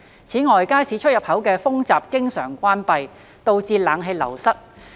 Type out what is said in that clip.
此外，街市出入口的風閘經常關閉，導致冷氣流失。